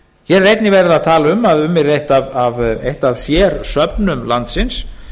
hér er einnig verið að tala um að um yrði eitt af sérsöfnum landsins